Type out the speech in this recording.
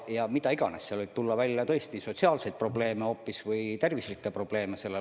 Ja mida iganes, seal võib välja tulla hoopis sotsiaalseid või lapse tervise probleeme.